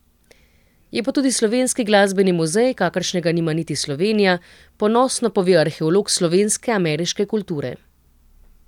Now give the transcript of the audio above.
Je pa tudi slovenski glasbeni muzej, kakršnega nima niti Slovenija, ponosno pove arheolog slovenske ameriške kulture.